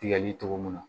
Tigɛli cogo mun na